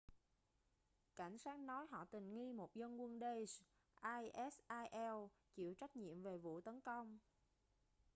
cảnh sát nói họ tình nghi một dân quân daesh isil chịu trách nhiệm về vụ tấn công